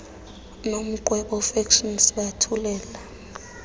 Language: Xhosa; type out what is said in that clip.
nomqwebo fiction sibathulela